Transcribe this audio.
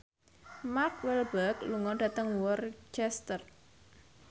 Mark Walberg lunga dhateng Worcester